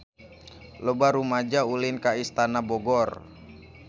Loba rumaja ulin ka Istana Bogor